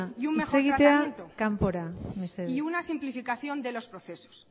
hitz egitera kanpora mesedez y una simplificación de los procesos